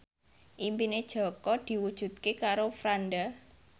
impine Jaka diwujudke karo Franda